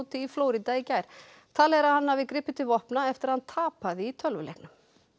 í Flórída í gær talið er að hann hafi gripið til vopna eftir að hann tapaði í tölvuleiknum